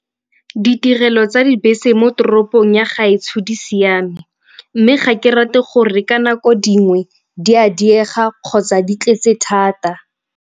Ditirelo tsa dibese mo toropong ya gaetsho di siame mme ga ke rate gore ka nako dingwe di a diega kgotsa di tletse thata.